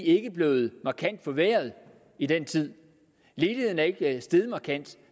ikke er blevet markant forværret i den tid ledigheden er ikke steget markant